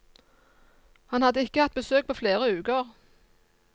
Han hadde ikke hatt besøk på flere uker.